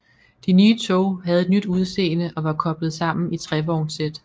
De nye tog havde et nyt udseende og var koblet sammen i trevognssæt